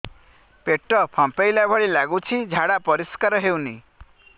ପେଟ ଫମ୍ପେଇଲା ଭଳି ଲାଗୁଛି ଝାଡା ପରିସ୍କାର ହେଉନି